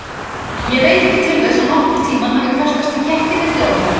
Ég veit ekki til þess, að nokkurn tíma hafi kastast í kekki milli okkar.